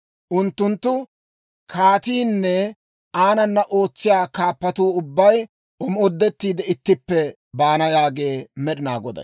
Unttunttu kaatiinne aanana ootsiyaa kaappatuu ubbay omoodettiide ittippe baana» yaagee Med'inaa Goday.